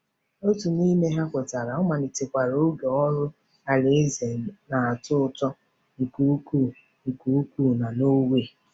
Otu n’ime ha kwetara, ọ malitekwara oge ọrụ alaeze na-atọ ụtọ nke ukwuu nke ukwuu na Norway.